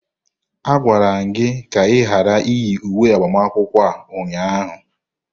A gwara gị ka ị ghara iyi uwe agbamakwụkwọ a ụnyaahụ!